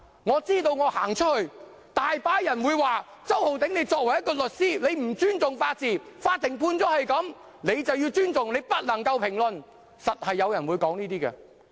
我知道我之後到外面，有很多人會說："周浩鼎，你作為一名律師，你不尊重法治，法院作出這樣的判決，你便要尊重，不能評論。